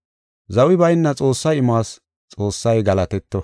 Zawi bayna Xoossaa imuwas Xoossay galatetto.